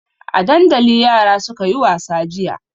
A dandali yara suka yi wasa jiya.